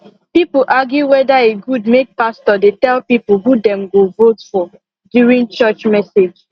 people argue weda e good make pastor dey tell people who them go vote for during church message